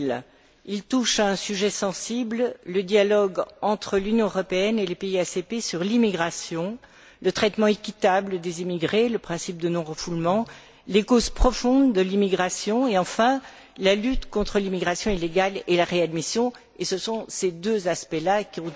2000. Il touche à un sujet sensible le dialogue entre l'Union européenne et les pays ACP sur l'immigration, le traitement équitable des immigrés, les principes de non refoulement, les causes profondes de l'immigration et, enfin, la lutte contre l'immigration illégale et la réadmission, et c'est sur ces deux aspects là que